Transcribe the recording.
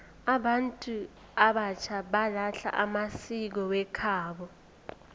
abantu abatjha balahla amasiko wekhabo